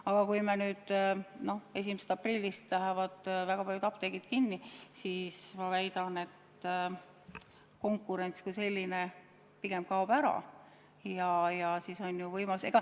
Aga kui nüüd 1. aprillist lähevad väga paljud apteegid kinni, siis ma väidan, et konkurents kui selline pigem kaob ära.